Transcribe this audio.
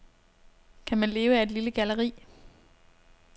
Kan man leve af et lille galleri?